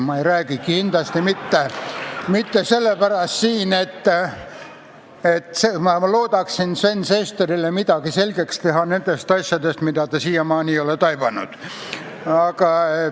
Ma ei räägi siin kindlasti mitte sellepärast, et ma loodaksin teha Sven Sesterile selgeks midagi nendest asjadest, mida ta siiamaani ei ole taibanud.